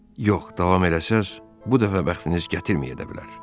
Yox, davam eləsəz, bu dəfə bəxtiniz gətirməyə də bilər.